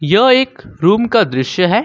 यह एक रूम का दृश्य है।